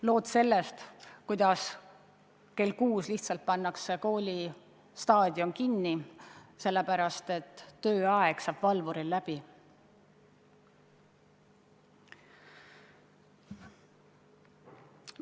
Lood sellest, kuidas kell kuus pannakse koolistaadion kinni, sellepärast et tööaeg saab valvuril läbi.